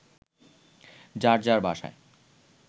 যার যার বাসায়